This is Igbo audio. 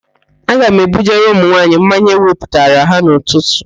Aga m ebujere ụmụnwaanyị mmanya ewepụtara ha n'ụtụtụ